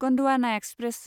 Gondwana express